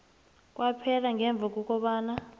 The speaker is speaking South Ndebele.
kwaphela ngemva kobana